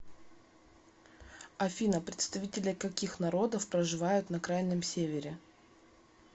афина представители каких народов проживают на крайнем севере